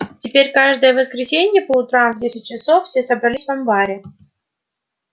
теперь каждое воскресенье по утрам в десять часов все собирались в амбаре